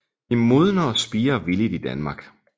De modner og spirer villigt i Danmark